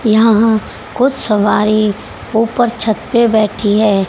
यहां कुछ सवारी ऊपर छत पे बैठी है।